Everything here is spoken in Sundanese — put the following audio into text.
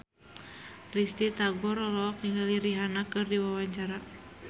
Risty Tagor olohok ningali Rihanna keur diwawancara